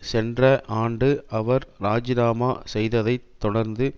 சென்ற ஆண்டு அவர் ராஜினாமா செய்ததை தொடர்ந்து